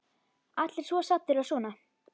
Allir svo saddir og svona.